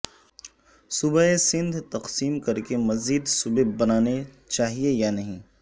صوبہ سندھ تقسیم کر کےمزید صوبے بنانے چاہئیں یا نہیں